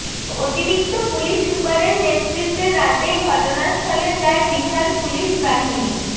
অতিরিক্ত পুলিশ সুপারের নেতৃত্বে রাতেই ঘটনাস্থলে যায় বিশাল পুলিশ বাহিনী